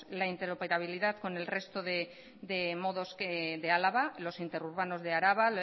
la interoperabilidad con el resto de modos de álava los interurbanos de araba